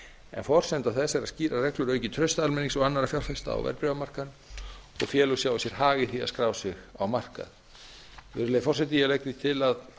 en forsenda þess eru skýrar reglur aukið traust almennings og annarra fjárfesta á verðbréfamarkaði og félög sjái sér hag í því að skrá sig á markað virðulegi forseti ég legg til að